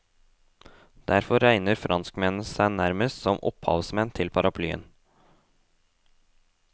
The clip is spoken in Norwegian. Derfor regner franskmennene seg nærmest som opphavsmenn til paraplyen.